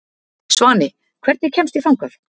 Svani, hvernig kemst ég þangað?